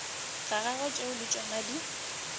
gagwe tšeo le tšona di